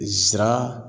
Zira